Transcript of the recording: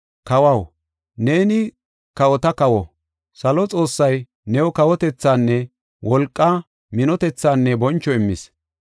Kawaw, neeni kawota kawo. Salo Xoossay new kawotethinne wolqa, minotethinne boncho immis.